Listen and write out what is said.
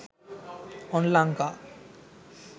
onlanka